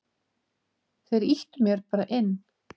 Þeir ýttu mér bara inn.